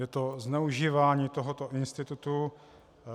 Je to zneužívání tohoto institutu.